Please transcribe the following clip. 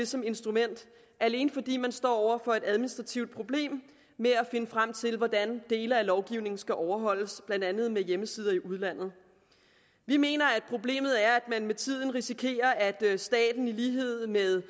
som instrument alene fordi man står over for et administrativt problem med at finde frem til hvordan dele af lovgivningen skal overholdes blandt andet med hjemmesider i udlandet vi mener at problemet er at man med tiden risikerer at staten i lighed med